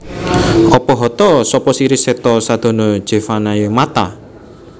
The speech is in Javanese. Apa hata sapa siri setha sadana jeevanaye Matha